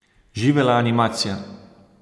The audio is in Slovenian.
Živela animacija!